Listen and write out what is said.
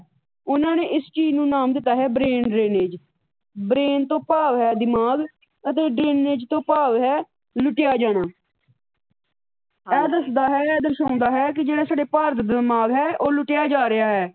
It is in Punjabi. ਉਹਨਾਂ ਨੇ ਇਸ ਚੀਜ ਨੂੰ ਨਾਮ ਦਿੱਤਾ ਹੈ ਬਰੇਨ ਡਰੇਨਜ। ਬਰੇਨ ਤੋਂ ਭਾਵ ਹੈ ਦਿਮਾਗ ਅਤੇ ਡਰੇਨਜ ਤੋਂ ਭਾਵ ਲੁੱਟਿਆ ਜਾਣਾ। ਇਹ ਦੱਸਦਾ ਹੈ, ਇਹ ਦਰਸਾਉਂਦਾ ਹੈ ਕਿ ਜਿਹੜਾ ਸਾਡਾ ਭਾਰਤ ਬੀਮਾਰ ਹੈ, ਉਹ ਲੁੱਟਿਆ ਜਾ ਰਿਹਾ ਹੈ।